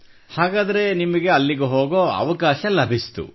ಹಾಗಾದರೆ ನಿಮಗೆ ಅಲ್ಲಿಗೆ ಹೋಗುವ ಅವಕಾಶ ಅಭಿಸಿತು